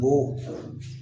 O